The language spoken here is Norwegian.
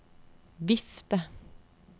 vifte